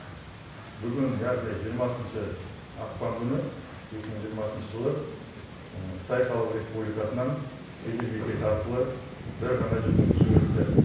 бүгін яғни жиырмасыншы ақпан күні екі мың жиырмасыншы жылы қытай халық республикасынан кеден бекеті арқылы бір ғана жүргізуші өтті